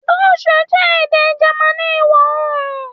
Dutch jẹ ede Germani iwọ-oorun